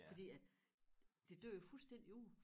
Fordi at det dør jo fuldstændig ud